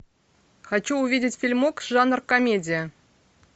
хочу увидеть фильмок жанр комедия